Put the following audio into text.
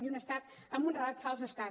i un estat amb un relat fals d’estat